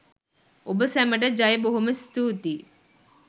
ඔබ සැමට ජය බොහොම ස්තුතියි